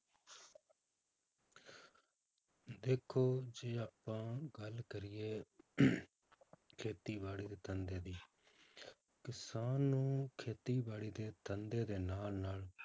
ਦੇਖੋ ਜੇ ਆਪਾਂ ਗੱਲ ਕਰੀਏ ਖੇਤੀਬਾੜੀ ਦੇ ਧੰਦੇ ਦੀ ਕਿਸਾਨ ਨੂੰ ਖੇਤੀਬਾੜੀ ਦੇ ਧੰਦੇ ਦੇ ਨਾਲ ਨਾਲ